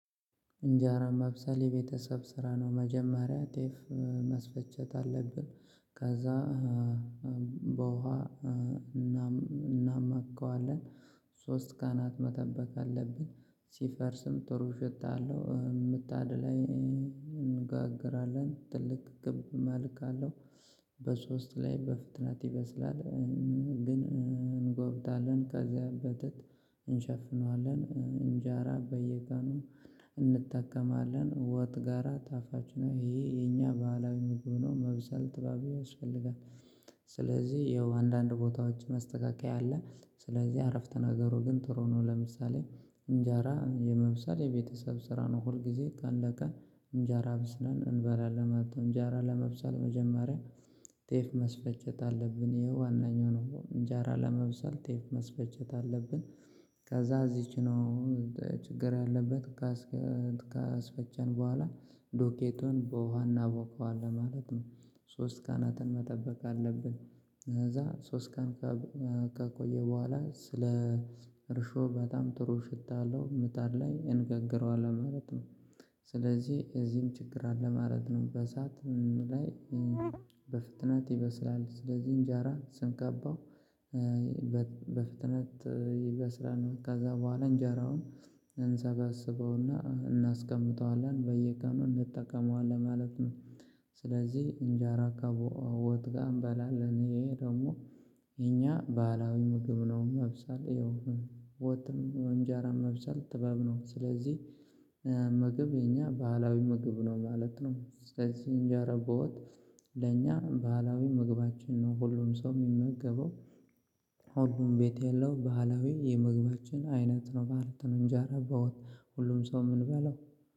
እንጃራም ማብሰል የቤተሰብ ስራ ነው መጀመሪያ ጤፍ ማስፈጨት አለብን ከዛ በውሃ እናማካዋለን ሶስት ቀናት መጠበቅ አለብን ሲፈርስም ጥሩ ሽታ አለሁ ምጣድ ላይኝ እንጋግራለን ትልቅ ክብ መልክ አለሁ በሱ ውስጥ ላይ በፍጥነት ይበስላል ግን እንጎብታለን ከዚያበትት እንሸፍነዋለን እንጃራ በየቀኑ እንጠቀማለን ወጥ ጋራ ታፋጭ ነው ይሄ የኛ ባህላዊ ምግብ ነው መብሰል ትባቢያ ያስፈልጋል። ስለዚህ ያው አንዳንድ ቦታዎች መስተካከያ አለ ስለዚህ አረፍተ ነገሩ ግን ጥሩ ነው። ለምሳሌ እንጀራ የመብሰል የቤተሰብ ስራ ነው ሁል ጊዜ ቀን ለቀን እንጀራ አብስለን እንበላለን። እንጀራ ለመብሰል መጀመሪያ ቴፍ መስፈቸት አለብን ይኸው ዋናኛው ነው እጃራ ለመብሰል ቴፍ መስፈቸት አለብን። ከዛ እዚች ነው ችግር ያለበት ካስፈቸን በኋላ ዶኬቶን በውሃ እናቦካዋለን ማለት ነው። ሶስት ካናትን መጠበቅ አለብን። ከዛ ሶስት ቀን ከቆየ በኋላ ስለ እርሾ በጣም ጥሩ ሽታ አለው ምታድ ላይ እንገግረዋለን ማለት ነው። ስለዚህ እዚህም ችግር አለ ማለት ነው። በሳት ላይ በፍጥነት ይበስላል ስለዚህ እንጀራ ስንቀከባው በፍጥነት ይበስላል ከዛ በኋላ እንጀራውን እንሰበስበውና እናስቀምጠዋለን በየቀኑ እንጠቀመዋለን ማለት ነው። ስለዚህ እንጃራ ከወጥጋ እንበላለን ይሄ ደግሞ የኛ ባህላዊ ምግብ ነው። መብሰል ይኸው ወጥም ወንጀራም መብሰል ጥበብ ነው። ስለዚህ ምግብ የኛ ባህላዊ ምግብ ነው ማለት ነው። እስከዚህ እንጀራ በወጥ ለእኛ ባህላዊ መግባችን ነው። ሁሉም ሰው ሚመገበው ሆሁም ቤት የለው ባህላዊ የመግባችን አይነት ነው ማለት ነው። እንጃራ በወጥ ሁሉም ሰው ምንበላው